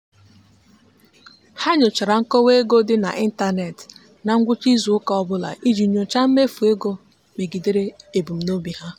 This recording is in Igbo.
ha nyochara nkọwa ego dị n'ịntanet na ngwụcha izuụka ọbụla iji nyochaa mmefu ego megidere ebumnobi ha.